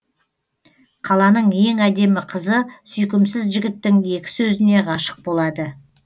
қаланың ең әдемі қызы сүйкімсіз жігіттің екі сөзіне ғашық болады